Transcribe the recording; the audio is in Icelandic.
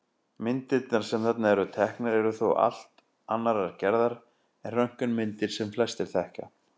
Myndirnar sem þarna eru teknar eru þó allt annarrar gerðar en röntgenmyndir sem flestir þekkja.